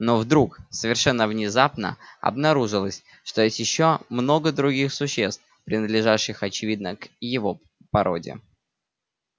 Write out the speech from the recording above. но вдруг совершенно внезапно обнаружилось что есть ещё много других существ принадлежащих очевидно к его породе